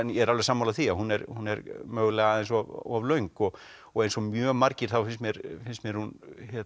ég er alveg sammála því hún er hún er mögulega aðeins of löng og og eins og mjög margir þá finnst mér finnst mér hún